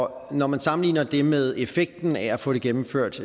og når man sammenligner det med effekten af at få det gennemført